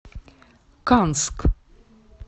канск